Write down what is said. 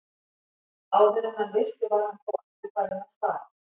Áður en hann vissi var hann þó aftur farinn að stara.